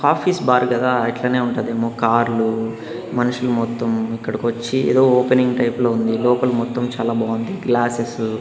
Office bar కదా ఇట్లనే ఉంటాది ఏమో కార్లు మనుషులు మొత్తం ఇక్కడికి వచ్చి ఏదో ఓపెనింగ్ టైపులో ఉంది లోపల మొత్తం చాలా బాగుంది గ్లాసెస్ .